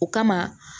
O kama